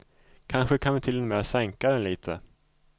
Kanske kan vi till och med sänka den lite.